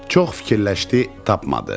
Çox fikirləşdi, tapmadı.